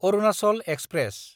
Arunachal express